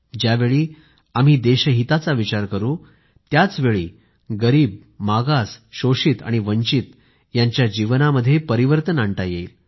ज्यावेळी आम्ही देशहिताचा विचार करू त्याचवेळी गरीब मागास शोषित आणि वंचित यांच्या जीवनामध्ये परिवर्तन आणता येणार आहे